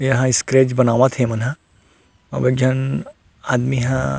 ये ह स्केच बनावत हे ये मन ह आऊ एक झन आदमी ह--